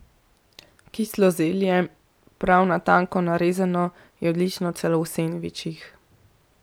Kislo zelje, prav na tanko narezano, je odlično celo v sendvičih.